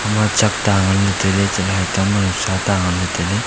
ema chak ta nganla tailey chatley haitang ma nawsa ta nganla tailey.